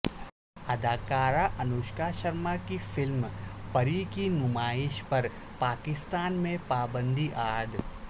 اداکارہ انوشکا شرما کی فلم پری کی نمائش پر پاکستان میں پابندی عائد